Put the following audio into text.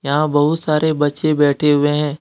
यहां बहुत सारे बच्चे बैठे हुए हैं।